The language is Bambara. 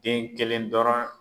Den kelen dɔrɔn